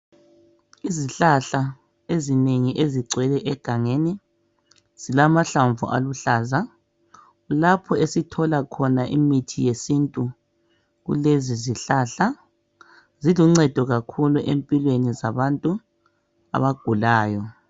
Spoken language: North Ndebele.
Izihlahla ezinengi ezigcwele egangeni zilamahlamvu aluhlaza lapho esithola khona imithi yesintu kulezi zihlahla ziluncedo kakhulu empilweni zabantu abagulayo.